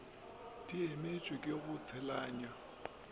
di emetšwe ke go tseneletšwa